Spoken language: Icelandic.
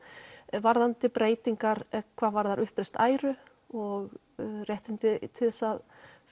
varðandi breytingar hvað varðar uppreist æru og réttindi til þess að